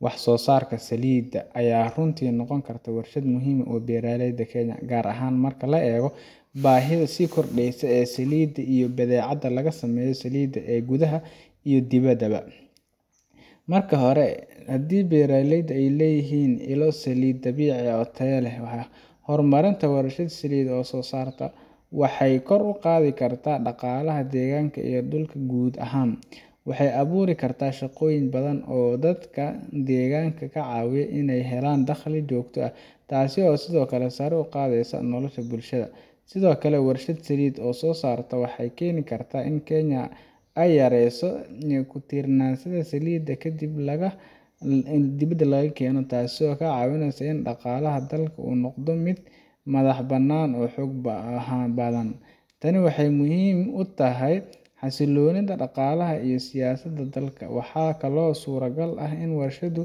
Wax soosarka salida aya runtii noqon karta warshad muhiim ah oo beraaleyda Kenya gaar ahaan marka aleego baahidha sii kordeysa e salidi iyo badhecada lagasameyo salida e gudhaha iyo dibada ba. Marka hore hadii ey beeraleyda leyihin ilo salida dabiici ah oo tayo leh waxa hormaranta warsha saliid oo soo sarta. Waxey kor uqaadhi karta daqalaha degaanka iyo dulka guud ahaan. Waxey abuuri karta shaqooyin badhan oo dadka degaanka kacaawi in ey helaan daqli joogto ah taasi oosidhoo kale sare uqaadheysa nolosha bulshada. Sidhoo kale warshad saliid soosarta waxey keni karta in kenya ey yareyso kutiirnaansadha saliida kadib laga dibada lagakeena taaso kacaawineysa in daqaalaha dalka uu nodo mid madhah banaan oo xoog badhan. Tani waxey muhiim utahy xasiloonidha daqaalaha iyo sidhookale siyaasada dalka. waxaa kale oo surta gal ah in warshadu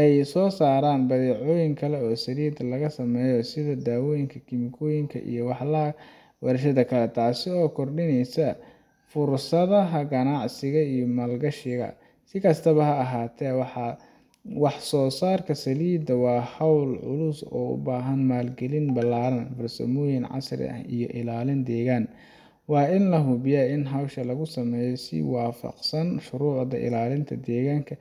ey soosaraan badhecooyin kale oo salid lagasameeyo sidha dawooyinka kemikooyinka iyo wax laa warshada kale taasi oo kordineysa fursadhaha ganacsiga iyo maal gashiga si kastaba ha ahaate wahsoosarta salida waa hool culus oo ubaahan maal galin balaaran farsamooyin casri ah iyo ilaalin degaan. Waa in lahubiyo in howsha lagusameeyo shurucda ilaalinta degaanka.